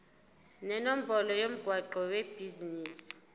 nenombolo yomgwaqo webhizinisi